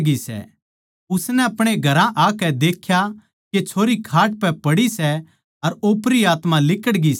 उसनै आपणे घरां आकै देख्या के छोरी खाट पै पड़ी सै अर ओपरी आत्मा लिकड़ग्यी सै